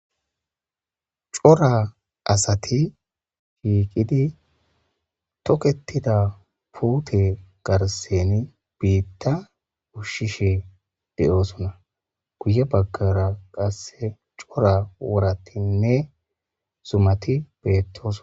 Cora asati shiiqidi toketida puute garsen biitta ushshishe de'oosona guye baggara qasse cora wuratinne zumati beettoson